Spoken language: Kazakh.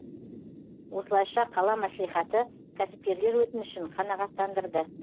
осылайша қала мәслихаты кәсіпкерлер өтінішін қанағаттандырды